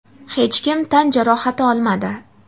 hech kim tan jarohati olmadi.